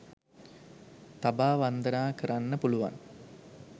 තබා වන්දනා කරන්න පුළුවන්.